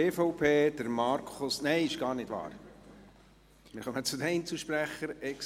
Wir kommen zu den Einzelsprechenden.